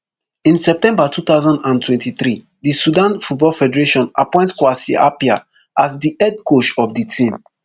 in september two thousand and twenty-three di sudan football federation appoint kwasi appiah as di head coach of di team